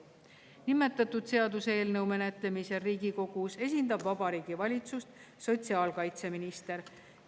Nimetatud seaduseelnõu menetlemisel Riigikogus esindab Vabariigi Valitsust sotsiaalkaitseminister.